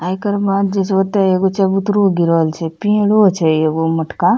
एकर बाद जेई छै ओयता एगो चबूतरों गिरल छै पेड़ों छै एगो मोटका --